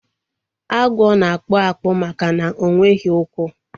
Agwo na-akpụ akpụ maka na ọnweghi ukwu